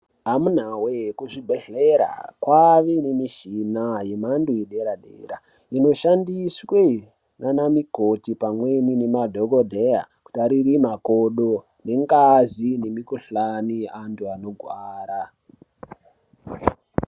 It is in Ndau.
Amunawee kuzvibhedhlera kwave nemishina yemhando yedera Dera inoshandiswa nanamukoti pamweni nemadhokodheya kutarira makodo, ngazi nemikhuhlani andu anogwara.